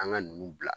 An ka nunnu bila